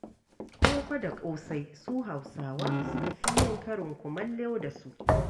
Koko da ƙosai su Hausawa suka fi yin karin kumallo da su.